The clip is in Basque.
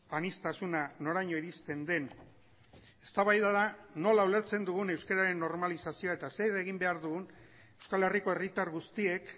aniztasuna noraino iristen den eztabaida da nola ulertzen dugun euskararen normalizazioa eta zer egin behar dugun euskal herriko herritar guztiek